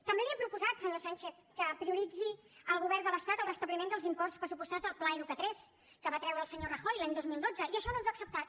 també li hem proposat senyor sánchez que prioritzi el govern de l’estat el restabliment dels imports pressupostats del pla educa3 que va treure el senyor rajoy l’any dos mil dotze i això no ens ho ha acceptat